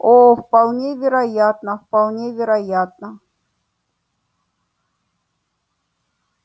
о вполне вероятно вполне вероятно